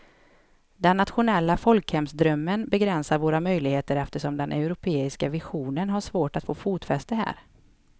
Den nationella folkhemsdrömmen begränsar våra möjligheter eftersom den europeiska visionen har svårt att få fotfäste här.